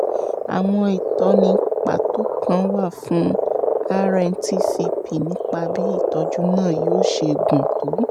àwọn ìtọ́ni pàtó kan wà fún rntcp nípa bí ìtọ́jú náà yóò ṣe gùn tó